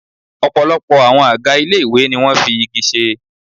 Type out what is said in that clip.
Ọ̀pọ̀lọpọ̀ àwọn àga ilé ìwé ni wọn fi igi ṣe.